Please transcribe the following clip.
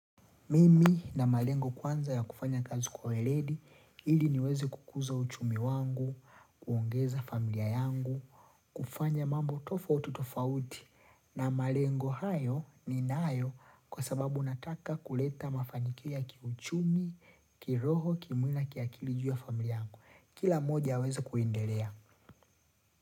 Mimi nina malengo kwanza ya kufanya kazi kwa weredi, ili niweze kukuza uchumi wangu, kuongeza familia yangu, kufanya mambo tofautu tofauti na malengo hayo ni nayo kwa sababu nataka kuleta mafanikio ya kiuchumi, kiroho, kimwili na kiakili juu familia yangu. Kila moja aweze kuendelea.